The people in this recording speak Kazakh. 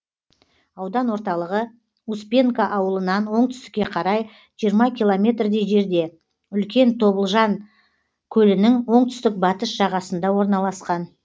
аудан орталығы успенка ауылынан оңтүстікке қарай жиырма километрдей жерде үлкен тобылжан көлінің оңтүстік батыс жағасында орналасқан